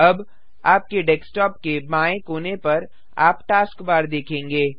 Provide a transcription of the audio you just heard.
अब आपके डेस्क्टॉप के बाएँ कोने पर आप टास्कबार देखेंगे